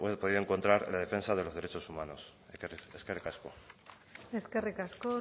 podido encontrar en la defensa de los derechos humanos eskerrik asko eskerrik asko